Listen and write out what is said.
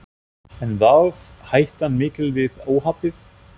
En varð hættan mikil við óhappið?